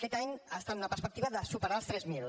aquest any ha estat una perspectiva de superar els tres mil